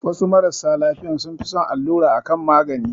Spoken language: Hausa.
Wasu marasa lafiyan sun fi son allura a kan magani